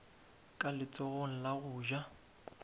ka letsogong la go ja